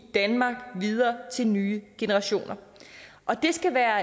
danmark videre til nye generationer det skal være